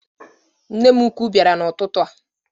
Nne m ụkwụ biara n' ụtụtụ a